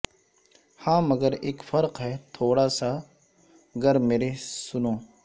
ہاں مگر اک فرق ہے تھوڑا سا گر میرے سنو